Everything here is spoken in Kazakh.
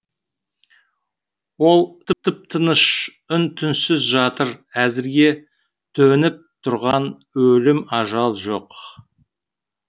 ол тып тыныш үн түнсіз жатыр әзірге төніп тұрған өлім ажал жоқ